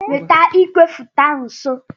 Weta igwefoto ahụ nso.